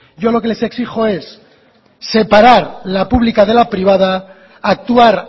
yo lo que les exijo es separar la pública de la privada actuar